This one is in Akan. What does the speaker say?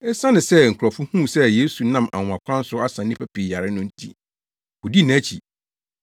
Esiane sɛ nkurɔfo huu sɛ Yesu nam anwonwakwan so asa nnipa pii yare no nti, wodii nʼakyi.